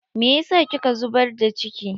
Me yasa kika zubar da ciki?